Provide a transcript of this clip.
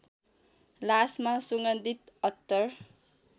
लासमा सुगन्धित अत्तर